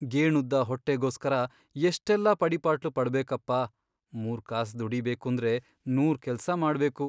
ಗೇಣುದ್ದ ಹೊಟ್ಟೆಗೋಸ್ಕರ ಎಷ್ಟೆಲ್ಲ ಪಡಿಪಾಟ್ಲು ಪಡ್ಬೇಕಪ್ಪ, ಮೂರ್ಕಾಸ್ ದುಡೀಬೇಕೂಂದ್ರೆ ನೂರ್ ಕೆಲ್ಸ ಮಾಡ್ಬೇಕು.